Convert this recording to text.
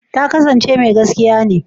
Ta kasance mai gaskiya ne?